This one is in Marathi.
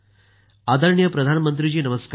आदरणीय प्रधानमंत्री जी नमस्कार